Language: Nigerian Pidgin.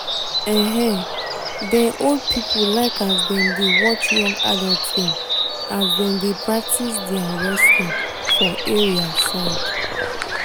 um dem old people like as dem dey watch young adults dem as dem dey practice their wrestling for area side